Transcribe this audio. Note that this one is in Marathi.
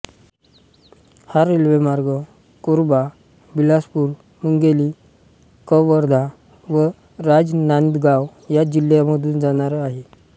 हा रेल्वेमार्ग कोरबा बिलासपूर मुंगेली कवर्धा व राजनांदगाव या जिल्ह्यामधून जाणार आहे